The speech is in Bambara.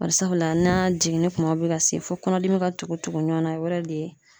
Bari sabula n'a jiginni kumaw bɛ ka se fo kɔnɔdimi ka tugu tugu ɲɔgɔnna, o yɛrɛ de ye